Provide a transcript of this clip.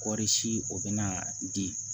Kɔɔri si o bɛna di